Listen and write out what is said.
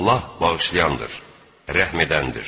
Allah bağışlayandır, rəhm edəndir.